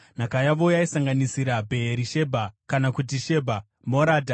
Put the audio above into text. Nhaka yavo yaisanganisira: Bheerishebha (kana kuti Shebha), Moradha,